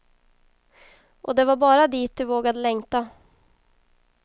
Och det var bara dit de vågade längta.